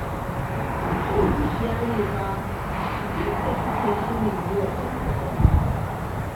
Son zuciya ne fa abin da suke shirin yi wa Farida wallahi